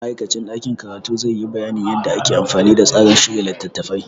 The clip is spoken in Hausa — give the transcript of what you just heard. Ma'aikacin ɗakin karatu zai yi bayanin yadda ake amfani da tsarin shirya littattafai.